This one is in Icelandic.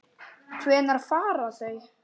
Hvenær fara þau?